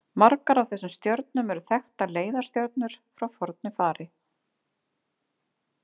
Margar af þessum stjörnum eru þekktar leiðarstjörnur frá fornu fari.